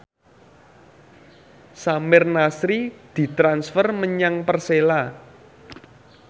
Samir Nasri ditransfer menyang Persela